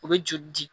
U bɛ joli di